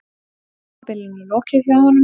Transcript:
Tímabilinu lokið hjá honum